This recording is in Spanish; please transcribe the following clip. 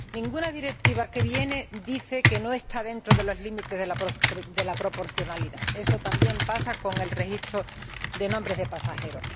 Ninguna directiva que viene dice que no está dentro de los límites de la proporcionalidad, eso también pasa con el registro de nombres de pasajeros.